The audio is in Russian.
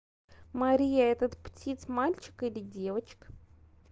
мария этот птиц мальчик или девочка